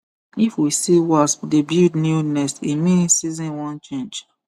if we see wasp dey build new nest e mean season wan change